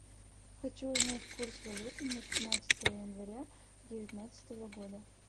хочу узнать курс валюты на пятнадцатое января девятнадцатого года